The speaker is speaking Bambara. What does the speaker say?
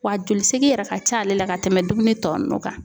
Wa joli segin yɛrɛ ka ca ale la ka tɛmɛ dumuni tɔ nunnu kan.